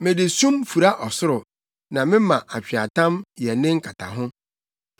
Mede sum fura ɔsoro na mema atweaatam yɛ ne nkataho.”